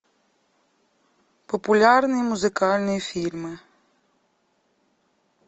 популярные музыкальные фильмы